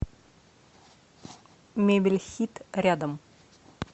мебель хит рядом